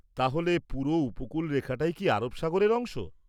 -তাহলে পুরো উপকূলরেখাটাই কি আরব সাগরের অংশ?